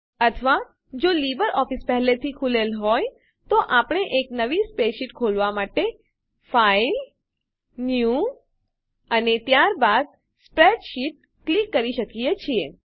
અથવા જો લીબરઓફીસ પહેલાથી ખૂલેલ હોય તો આપણે એક નવી સ્પ્રેડશીટ ખોલવાં માટે ફાઇલ ન્યૂ અને ત્યારબાદ સ્પ્રેડશીટ ક્લિક કરી શકીએ છીએ